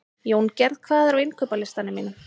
Jóngerð, hvað er á innkaupalistanum mínum?